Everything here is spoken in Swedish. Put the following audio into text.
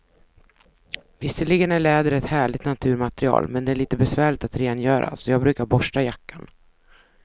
Visserligen är läder ett härligt naturmaterial, men det är lite besvärligt att rengöra, så jag brukar borsta jackan.